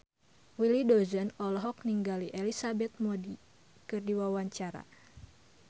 Willy Dozan olohok ningali Elizabeth Moody keur diwawancara